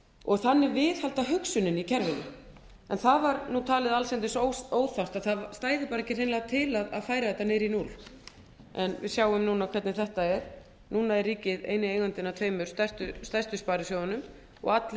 og þannig viðhalda hugsuninni í kerfinu en það var talið allsendis ófært að það stæði hreinlega ekki til að færa þetta niður í núll en við sjáum núna hvernig þetta er núna er ríkið eini eigandinn að tveimur stærstu sparisjóðunum og allir